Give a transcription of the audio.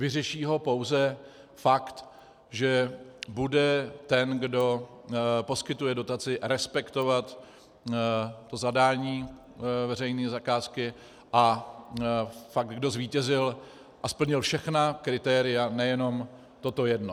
Vyřeší ho pouze fakt, že bude ten, kdo poskytuje dotaci, respektovat to zadání veřejné zakázky a fakt, kdo zvítězil a splnil všechna kritéria, nejenom toto jedno.